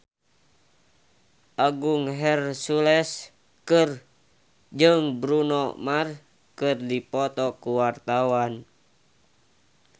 Agung Hercules jeung Bruno Mars keur dipoto ku wartawan